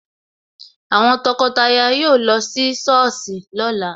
Àwọn tọkọtaya yóò lọ sí Sọ́ọ̀sì lóla